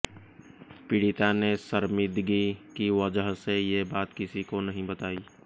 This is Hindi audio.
पीड़िता ने शर्मिदगी की वजह से ये बात किसी को नहीं बताई